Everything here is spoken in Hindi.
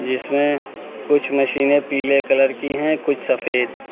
जिसमें कुछ मशीनें पीले कलर की है कुछ सफेद।